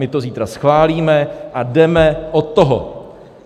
My to zítra schválíme a jdeme od toho.